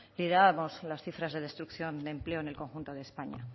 mirábamos las cifras de destrucción de empleo en el conjunto de españa